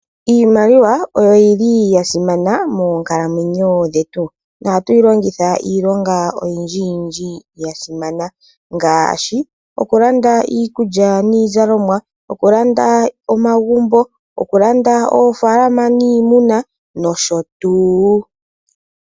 Iimaliwa oyo yili ya simana moonkalamwenyo dhetu ohatu yi longitha iilonga oyindjiyindji ya simanna ngaashi okulanda iikulya niizalomwa okulanda omagumbo ,okulanda ofaalama niimuna .